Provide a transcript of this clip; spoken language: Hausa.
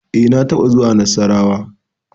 E, na taɓa zuwa na Nassarawa.